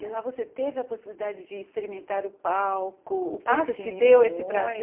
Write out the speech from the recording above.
E lá você teve a possibilidade de experimentar o palco, Ah sim muito O curso te deu esse prazer?